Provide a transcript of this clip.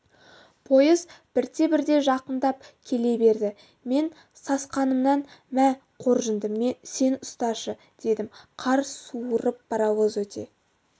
пойыз бірте-бірте жақындап келе берді мен сасқанымнан мә қоржынды сен ұсташы дедім қар суырып паровоз өте